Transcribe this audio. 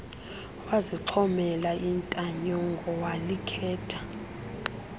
wazixhomela intanyongo walikhetha